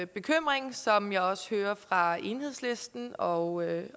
bekymring som jeg også hører fra enhedslisten og